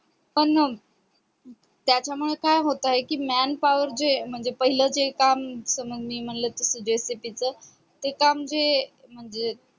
पण त्याच्या मुळे काय होतंय कि म्यान power जे म्हणजे जे पहिले काम जस मी म्हणलं होत तस joseph च ते काम जे